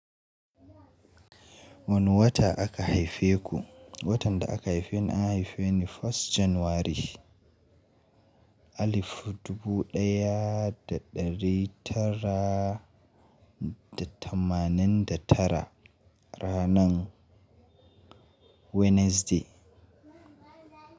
Wane wata aka haife ku? Watan da aka haife ni, an haife ni 1st January 1989 ranar Wednesday.